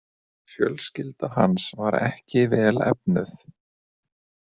Fjölskylda hans var ekki vel efnuð.